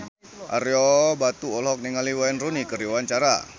Ario Batu olohok ningali Wayne Rooney keur diwawancara